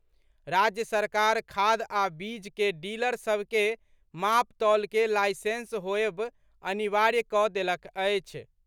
राज्य सरकार खाद आ बीज के डीलर सभ के मापतौल के लाईसेंस होयब अनिवार्य कऽ देलक अछि।